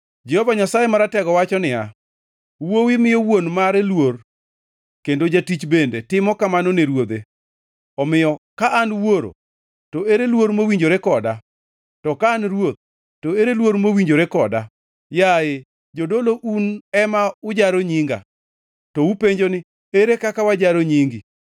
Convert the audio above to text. Jehova Nyasaye Maratego wacho niya, “Wuowi miyo wuon mare luor kendo jatich bende timo kamano ne ruodhe. Omiyo ka an wuoro, to ere luor mowinjore koda? To ka an Ruoth, to ere luor mowinjore koda?” “Yaye, jodolo, un ema ujaro nyinga. “To upenjo ni, ‘Ere kaka wajaro nyingi?’